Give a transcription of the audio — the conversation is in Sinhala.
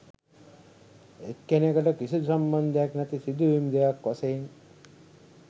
එක්නෙකට කිසිදු සම්බන්ධයක් නැති සිදුවීම් දෙකක් වශයෙන්